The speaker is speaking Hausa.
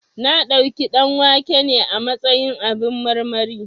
Na ɗauki ɗanwake ne a matsayin abin marmari